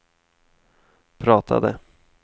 pratade